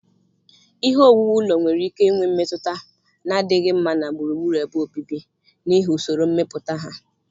Ihe owuwu ụlọ nwere ike inwe mmetụta na-adịghị mma na gburugburu ebe obibi n'ihi usoro mmepụta ha